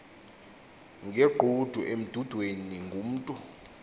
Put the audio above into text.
ngegqudu emdudweni ngumntu